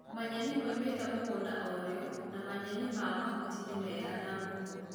Manyeni maumĩte mũgũnda o rĩo na manyeni ma mahuti nĩmega na mbũkũ